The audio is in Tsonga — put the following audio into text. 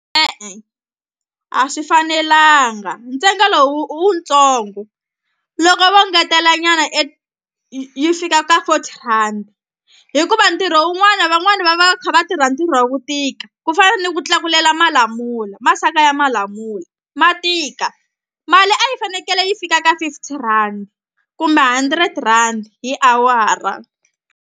E-e a swi fanelanga ntsengo lowu wu ntsongo loko vo ngetelanyana yi fika ka fourty rand hikuva ntirho wun'wana van'wani va va kha va tirha ntirho wa ku tika ku fana ni ku tlakulela malamula masaka ya malamula ma tika mali a yi fanekele yi fika ka fifty rand kumbe hundred rand hi awara.